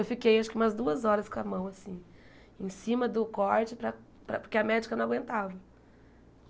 Eu fiquei acho que umas duas horas com a mão assim, em cima do corte, para para porque a médica não aguentava.